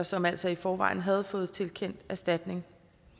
som altså i forvejen havde fået tilkendt erstatning